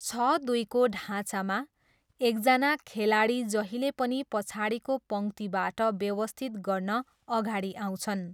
छ दुईको ढाँचामा, एकजना खेलाडी जहिले पनि पछाडिको पङ्क्तिबाट व्यवस्थित गर्न अगाडि आउँछन्।